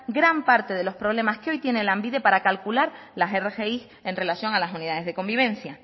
gran parte de los problemas que hoy tiene lanbide para calcular las rgi en relación a las unidades de convivencia